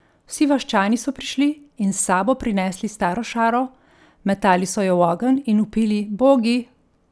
Vsi vaščani so prišli in s sabo prinesli staro šaro, metali so jo v ogenj in vpili Bogi!